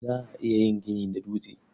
Za a iya yin gini da dutse.